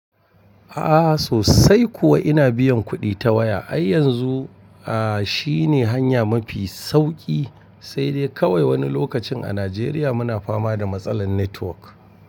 A'a sosai kuwa ina biyan kuɗi ta waya, ai yanzu a shi ne hanya mafi sauki sai dai kawai wani lokacin a Najeriya muna fama da matsalar network.